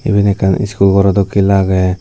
eben ekkan iscool garaw dokke lager.